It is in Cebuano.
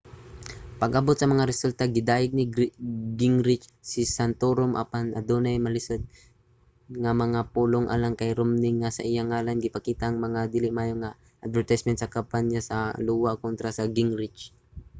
pag-abot sa mga resulta gidayeg ni gingrich si santorum apan adunay malisud nga mga pulong alang kang romney nga sa iyang ngalan gipakita ang mga dili maayo nga mga advertisement sa kampanya sa iowa kontra sa gingrich